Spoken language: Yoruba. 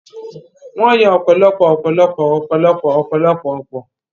Wọ́n yọ ọ̀pọ̀lọpọ̀ ọ̀pọ̀lọpọ̀ ọ̀pọ̀lọpọ̀ ọ̀pọ̀lọpọ̀ ọ̀pọ̀